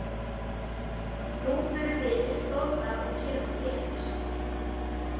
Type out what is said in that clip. Nú förum við til Þórðar og gerum hann vitlausan.